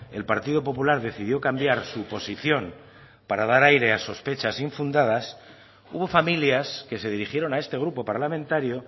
el partido popular decidió cambiar su posición para dar aire a sospechas infundadas hubo familias que se dirigieron a este grupo parlamentario